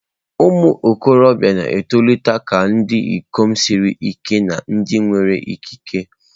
Ụmụ okorobia na-etolite ghọọ ndị ikom siri ike na ndị nwere ikike.